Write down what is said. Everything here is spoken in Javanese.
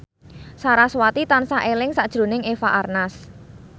sarasvati tansah eling sakjroning Eva Arnaz